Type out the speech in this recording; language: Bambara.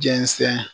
Jɛnsɛn